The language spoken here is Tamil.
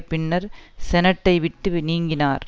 பின்னர் செனட்டை விட்டுவி நீங்கினார்